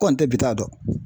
Kɔni tɛ bi ta dɔn